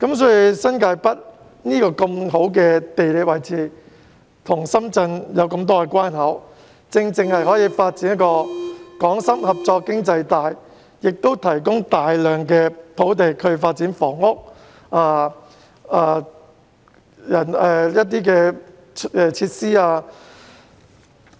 新界北處於很好的地理位置，設了多個來往深圳的關口，正好發展港深合作經濟帶，也可以提供大量土地發展房屋和設施。